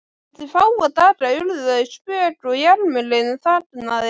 Eftir fáa daga urðu þau spök og jarmurinn þagnaði.